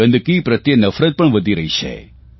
ગંદકી પ્રત્યે નફરત પણ વધી રહી છે